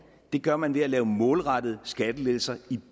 det gør man ved at lave målrettede skattelettelser i